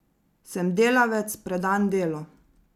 Sem delavec, predan delu.